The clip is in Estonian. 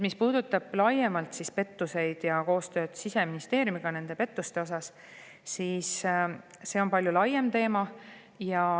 Mis puudutab koostööd Siseministeeriumiga pettuste osas, siis see on palju laiem teema.